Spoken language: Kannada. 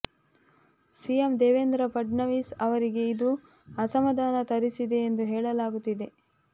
ಸಿಎಂ ದೇವೇಂದ್ರ ಫಡ್ನವೀಸ್ ಅವರಿಗೆ ಇದು ಅಸಮಾಧಾನ ತರಿಸಿದೆ ಎಂದು ಹೇಳಲಾಗುತ್ತಿದೆ